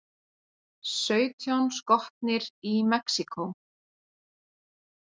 Sautján skotnir í Mexíkó